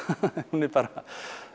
hún er bara